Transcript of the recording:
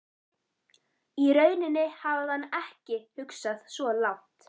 Í rauninni hafði hann ekki hugsað svo langt.